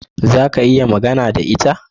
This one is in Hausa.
Za ka iya magana da ita?